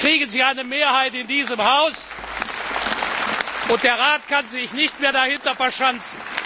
Dann bekommen Sie eine Mehrheit in diesem Haus, und der Rat kann sich nicht mehr dahinter verschanzen.